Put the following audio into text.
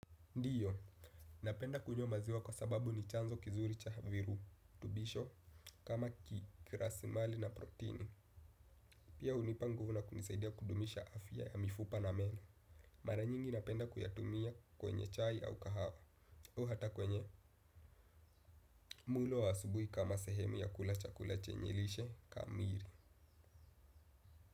Ndiyo, napenda kunywa maziwa kwa sababu ni chanzo kizuri cha virutubisho, kama ki kiraslimali na protini. Pia hunipa nguvu na kunisaidia kudumisha afya ya mifupa na meno. Mara nyingi napenda kuyatumia kwenye chai au kahawa. Au hata kwenye mlo wa asubuhi kama sehemu ya kula chakula chenye lishe kamili.